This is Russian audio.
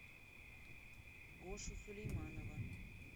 гошу сулейманова